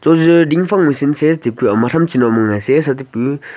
ajo ding phang machine .]